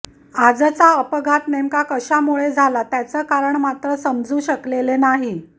आजचा अपघात नेमका कश्यामुळं झाला त्याचं कारण मात्र समजू शकलेले नाही